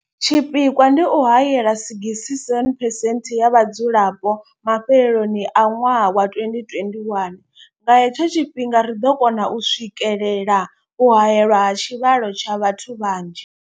Tshipikwa ndi u haela 67 percent ya vhadzulapo mafheloni a ṅwaha wa 2021. Nga he tsho tshifhinga ri ḓo kona u swikelela u haelwa ha tshivhalo tsha vhathu vha nzhi.